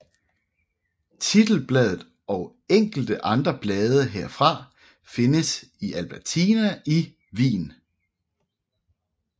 Titelbladet og enkelte andre blade herfra findes i Albertina i Wien